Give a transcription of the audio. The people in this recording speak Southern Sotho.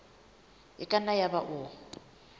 e ka nna yaba o